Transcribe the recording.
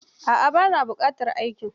A'a, ba na buƙatar aikin.